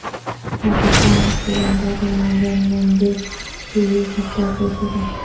پاکستان اور سری لنکا کے مابین ون ڈے سیریز ہفتہ سے شروع